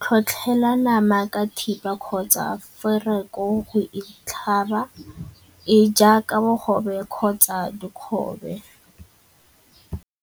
Tlhotlhela nama ka thipa kgotsa foroko go e tlhaba e jaaka bogobe kgotsa dikgobe.